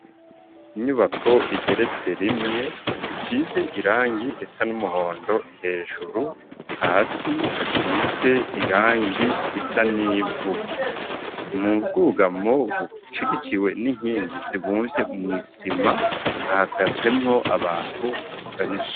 Inyubako igeretse rimwe isize irangi risa n'umuhondo hejuru hasi hasize irangi risa n'ivu mu bwugamo bushigikiwe n'inkingi zibumvye mw'isima hahagazemwo abantu beshi.